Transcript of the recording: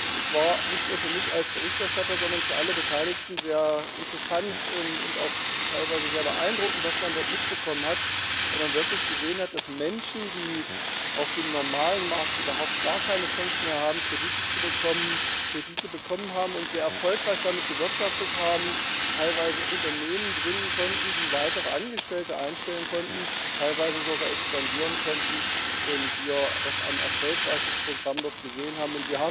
Das war nicht nur für mich als Berichterstatter, sondern für alle Beteiligten sehr interessant und auch teilweise sehr beeindruckend, was man dort mitbekommen hat, weil man wirklich gesehen hat, dass Menschen, die auf dem normalen Markt überhaupt keine Chance mehr haben, Kredite zu bekommen, Kredite bekommen haben und sehr erfolgreich damit gewirtschaftet haben, teilweise Unternehmen gründen konnten, die weitere Angestellte einstellen konnten, teilweise sogar expandieren konnten, und wir doch ein erfolgreiches Programm dort gesehen haben.